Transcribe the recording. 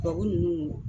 Tubabu ninnu